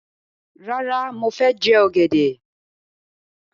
Rárá, mo fẹ jẹ ọ̀gẹ̀dẹ̀.